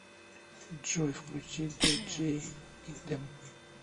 джой включи диджей идем